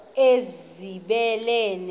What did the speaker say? ezibeleni